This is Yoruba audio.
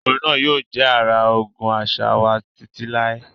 Orin náà yóò jẹ́ ara ogún àṣà wa títí láé.